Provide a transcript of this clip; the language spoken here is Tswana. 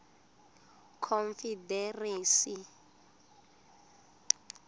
confederacy